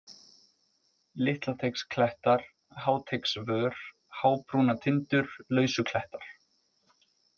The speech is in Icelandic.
Litlateigsklettar, Háteigsvör, Hábrúnatindur, Lausuklettar